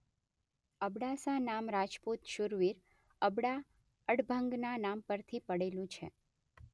અબડાસા નામ રાજપુત શુરવીર અબડા અડભંગનાં નામ પરથી પડેલું છે.